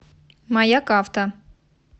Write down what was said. маяк авто